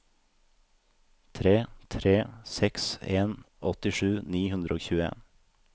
tre tre seks en åttisju ni hundre og tjueen